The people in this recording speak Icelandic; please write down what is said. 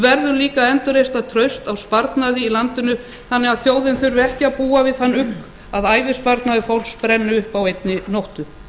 verðum líka að endurreisa traust á sparnaði í landinu þannig að þjóðin þurfi ekki að búa við þann ugg að ævisparnaður fólks brenni upp á einni nóttu